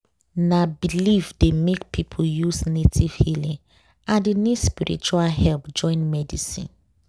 na belief dey make people use native healing and e need spiritual help join medicine.